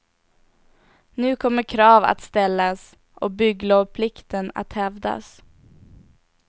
Nu kommer krav att ställas och bygglovplikten att hävdas.